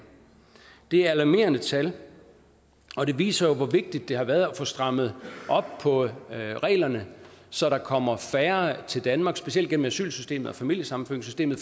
det er et alarmerende tal og det viser jo hvor vigtigt det har været at få strammet op på reglerne så der kommer færre til danmark specielt gennem asylsystemet og familiesammenføringssystemet